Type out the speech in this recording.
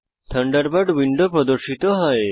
Thunderbird window প্রর্দশিত হয়